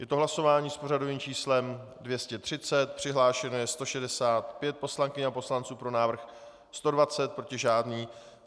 Je to hlasování s pořadovým číslem 230, přihlášeno je 165 poslankyň a poslanců, pro návrh 120, proti žádný.